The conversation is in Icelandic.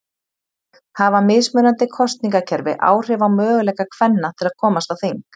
Hafa mismunandi kosningakerfi áhrif á möguleika kvenna til að komast á þing?